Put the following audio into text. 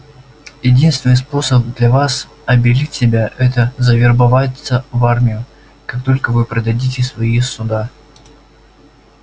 единственный способ для вас обелить себя это завербоваться в армию как только вы продадите свои суда